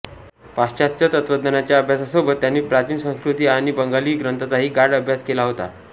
पाश्चात्त्य तत्त्वज्ञानाच्या अभ्यासासोबत त्यांनी प्राचीन संस्कृत आणि बंगाली ग्रंथांचाही गाढ अभ्यास केला होता